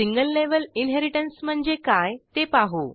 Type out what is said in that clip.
single level inheritance म्हणजे काय ते पाहू